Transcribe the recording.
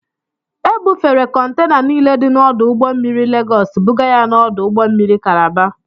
Ebufere kọntena niile dị n'ọdụ ụgbọ mmiri Legọọs bụga ya n'ọdụ ụgbọ mmiri kalaba.